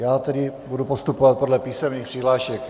Já tedy budu postupovat podle písemných přihlášek.